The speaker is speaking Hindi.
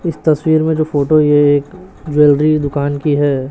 इस तस्वीर में जो फोटो ये एक ज्वेलरी दुकान की हैं।